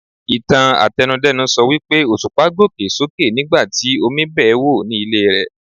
Ìtàn àtẹnu-dẹ́nu sọ wípé Òṣùpá gòkè sókè nigbati Omi bẹ́ẹ̀ wò ní ilé rẹ̀.